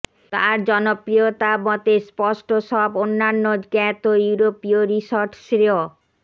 তার জনপ্রিয়তা মতে স্পষ্ট সব অন্যান্য জ্ঞাত ইউরোপীয় রিসর্ট শ্রেয়